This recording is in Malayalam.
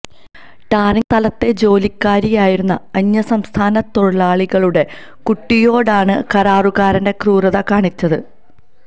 ടാറിങ്ങ് സ്ഥലത്തെ ജോലിക്കാരായിരുന്ന അന്യ സംസ്ഥാന തൊഴിലാളികളുടെ കുട്ടിയോടാണ് കരാറുകാരന്റെ ക്രൂരത കാണിച്ചത്